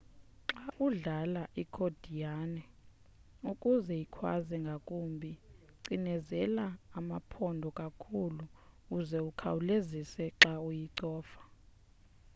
xa udlala ikhodiyane ukuze ikhwaze ngakumbi cinezela amaphondo kakhulu uze ukhawulezise xa uyicofa